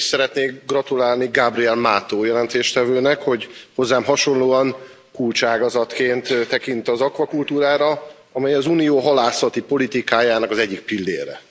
Először is szeretnék gratulálni Gabriel Mato jelentéstevőnek, hogy hozzám hasonlóan kulcságazatként tekint az akvakultúrára, amely az Unió halászati politikájának az egyik pillére.